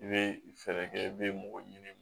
I bɛ fɛɛrɛ kɛ i bɛ mɔgɔ ɲini